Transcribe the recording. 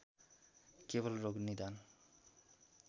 केवल रोग निदान